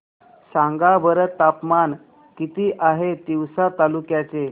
सांगा बरं तापमान किती आहे तिवसा तालुक्या चे